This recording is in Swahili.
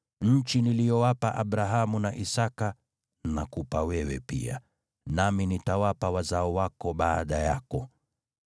Nchi niliyowapa Abrahamu na Isaki nakupa wewe pia, nami nitawapa wazao wako baada yako.”